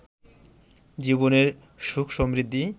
জীবনের সুখ সমৃদ্ধি